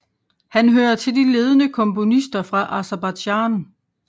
Han hører til de ledende komponister fra Aserbajdsjan